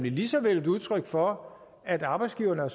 lige så vel et udtryk for at arbejdsgiverne har